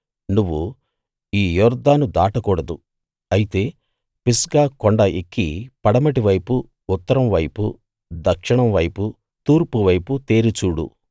నువ్వు ఈ యొర్దాను దాటకూడదు అయితే పిస్గా కొండ ఎక్కి పడమటి వైపు ఉత్తరం వైపు దక్షిణం వైపు తూర్పు వైపు తేరి చూడు